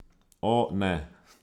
O, ne.